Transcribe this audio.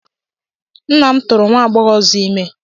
Nna m tụụrụ nwa agbọghọ ọzọ ime.